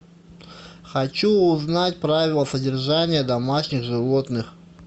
хочу узнать правила содержания домашних животных